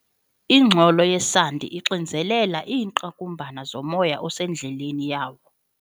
Ingxolo yesandi ixinzelela iingqakumbana zomoya osendleleni yawo.